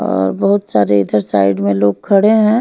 और बहुत सारे इधर साइड लोग खड़े हैं।